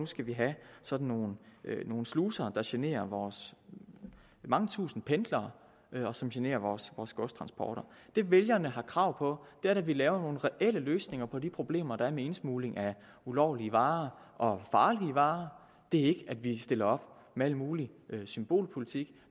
skal have sådan nogle sluser der generer vores mange tusinde pendlere og som generer vores godstransporter det vælgerne har krav på er at vi laver nogle reelle løsninger på de problemer der er med indsmugling af ulovlige varer og farlige varer det er ikke at vi stiller op med al mulig symbolpolitik